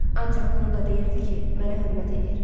Ancaq bunu da deyirdi ki, mənə hörmət eləyir.